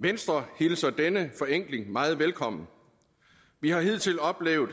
venstre hilser denne forenkling meget velkommen vi har hidtil oplevet